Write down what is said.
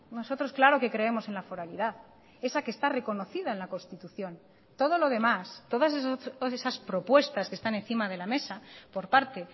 nosotros claro que creemos en la foralidad esa que está reconocida en la constitución todo lo demás todas esas propuestas que están encima de la mesa por parte